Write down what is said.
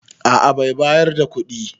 A a bai bayar da kuɗi.